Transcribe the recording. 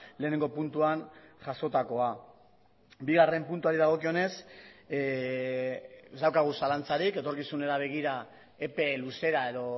lehenengo puntuan jasotakoa bigarren puntuari dagokionez ez daukagu zalantzarik etorkizunari begira epe luzera edo